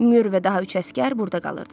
Müyür və daha üç əsgər burda qalırdı.